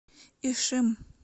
ишим